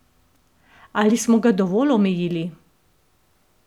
Ali smo ga dovolj omejili?